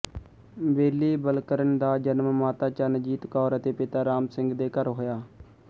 ਬੇਲੀ ਬਲਕਰਨ ਦਾ ਜਨਮ ਮਾਤਾ ਚਰਨਜੀਤ ਕੌਰ ਅਤੇ ਪਿਤਾ ਰਾਮ ਸਿੰਘ ਦੇ ਘਰ ਹੋਇਆ